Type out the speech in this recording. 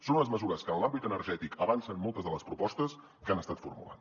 són unes mesures que en l’àmbit energètic avancen moltes de les propostes que han estat formulant